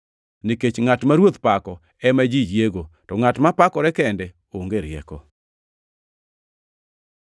Nikech ngʼat ma Ruoth pako ema ji yiego, to ngʼat mapakore kende onge rieko.